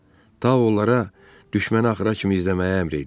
Ta onlara düşməni axıra kimi izləməyə əmr eləyib.